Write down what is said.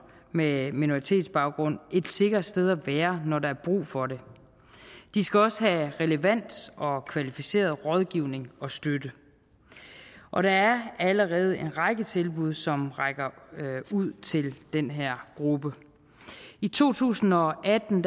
med minoritetsbaggrund et sikkert sted at være når der er brug for det de skal også have relevant og kvalificeret rådgivning og støtte og der er allerede en række tilbud som rækker ud til den her gruppe i to tusind og atten